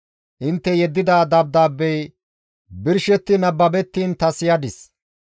«Intte yeddida dabdaabbey birshetti nababettiin ta siyadis;